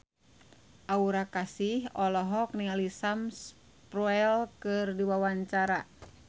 Aura Kasih olohok ningali Sam Spruell keur diwawancara